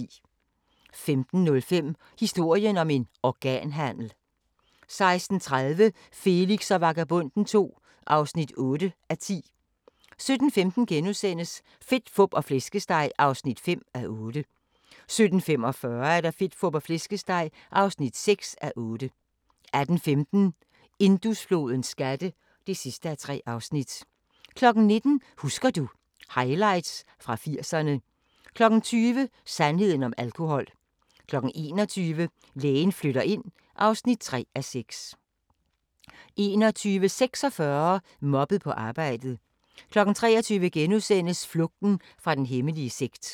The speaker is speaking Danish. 15:05: Historien om en organhandel 16:30: Felix og Vagabonden II (8:10) 17:15: Fedt, Fup og Flæskesteg (5:8)* 17:45: Fedt, Fup og Flæskesteg (6:8) 18:15: Indusflodens skatte (3:3) 19:00: Husker du ... Highlights fra 80'erne 20:00: Sandheden om alkohol 21:00: Lægen flytter ind (3:6) 21:46: Mobbet på arbejdet 23:00: Flugten fra den hemmelige sekt *